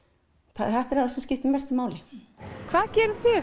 þetta er það sem skiptir mestu máli hvað gerir þig